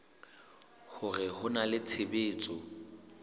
hore ho na le tshebetso